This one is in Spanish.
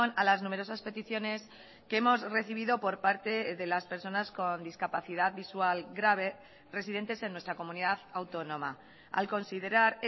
a las numerosas peticiones que hemos recibido por parte de las personas con discapacidad visual grave residentes en nuestra comunidad autónoma al considerar